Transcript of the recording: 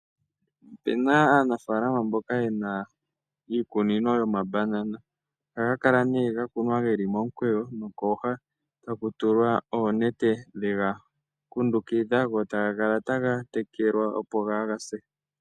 Ope na aanafalama mboka yena iikunino yomambanana. Ohaga kala nee ga kunwa geli momukweyo nokooha. Taku tulwa oonete dhega kundukidha go taga kala taga tekelwa opo kaaga se.